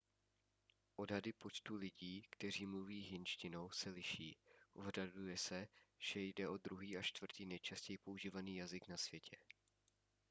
odhady počtu lidí kteří mluví hindštinou se liší odhaduje se že jde o druhý až čtvrtý nejčastěji používaný jazyk na světě